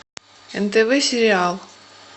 нтв сериал